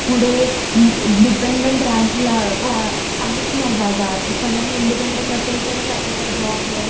पुढे डिपेन्डन्ट रा ला व्हा आहेच नाही जागा, सगळ्यांनी इंडिपेंडंट असेल तरच आपल्याला जॉबे.